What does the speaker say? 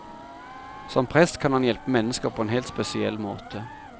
Som prest kan han hjelpe mennesker på en helt spesiell måte.